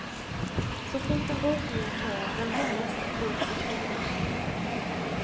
Så fort en bokning är klar, väntar nästa kund på tråden.